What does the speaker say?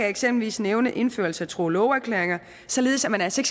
eksempelvis nævne indførelse af tro og loveerklæringer således at man altså